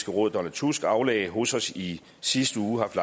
råd donald tusk aflagde hos os i sidste uge haft